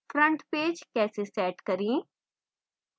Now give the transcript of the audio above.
front page कैसे set करें